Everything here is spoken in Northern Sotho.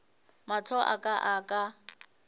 mahlo a ka a ka